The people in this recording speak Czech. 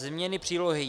Změny Přílohy